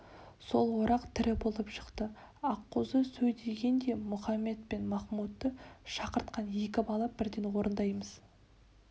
сол орақ тірі болып шықты аққозы сөйдеген де мұхамед пен махмудты шақыртқан екі бала бірден орындаймыз